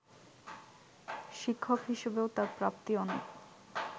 শিক্ষক হিসেবেও তাঁর প্রাপ্তি অনেক